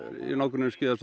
í nágrenni við skíðasvæðið